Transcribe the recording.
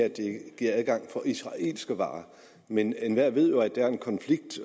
adgang for israelske varer men enhver ved jo at der er en konflikt